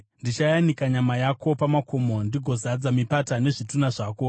Ndichayanika nyama yako pamakomo, ndigozadza mipata nezvitunha zvako.